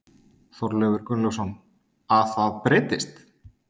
Þorleifur Gunnlaugsson: Að það breytist?